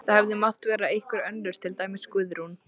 Það hefði mátt vera einhver önnur, til dæmis Guðrún.